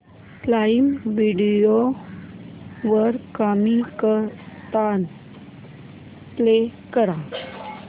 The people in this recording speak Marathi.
प्राईम व्हिडिओ वर कॉमिकस्तान प्ले कर